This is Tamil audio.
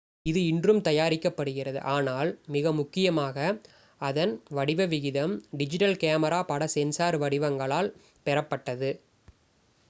இது இன்றும் தயாரிக்கப்படுகிறது ஆனால் மிக முக்கியமாக அதன் வடிவ விகிதம் டிஜிட்டல் கேமரா பட சென்சார் வடிவங்களால் பெறப்பட்டது